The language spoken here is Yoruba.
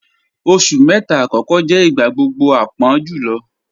Oṣù mẹta akọkọ jẹ̀ igbagbogbo àpọ̀n julọ